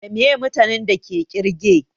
Da meye mutanin da ke ƙirge?